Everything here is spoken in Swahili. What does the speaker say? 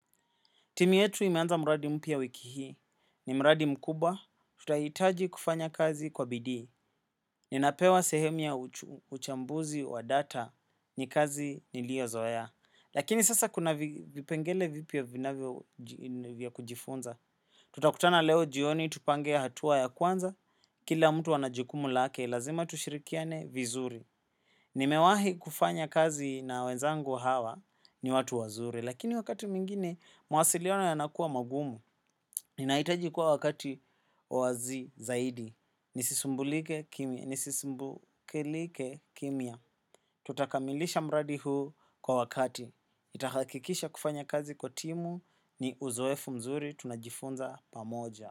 Timu yetu imeanza mradi mpya wiki hii ni mradi mkubwa tutahitaji kufanya kazi kwa bidii. Ninapewa sehemu ya uchambuzi wa data ni kazi niliozoea. Lakini sasa kuna vipengele vipya vinavyo kujifunza. Tutakutana leo jioni tupange hatua ya kwanza kila mtu anajukumu lake lazima tushirikiane vizuri. Nimewahi kufanya kazi na wenzangu hawa ni watu wazuri, lakini wakati mwingine, mawasiliona yanakua magumu. Ninaitaji kuwa wakati wazi zaidi. Nisisumbulike kimya.nisisumbukelike kimya. Tutakamilisha mradi huu kwa wakati. Nitakakikisha kufanya kazi kwa timu ni uzoefu mzuri tunajifunza pamoja.